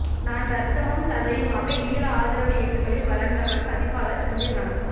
நான் இரத்தமும் சதையுமாக ஈழ ஆதரவு இயக்கங்களில் வளர்ந்தவன் பதிப்பாளர் செந்தில்நாதன்